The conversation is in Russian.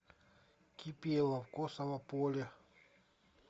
кипелов косово поле